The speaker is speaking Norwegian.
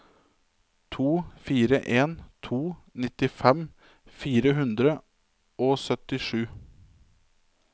to fire en to nittifem fire hundre og syttisju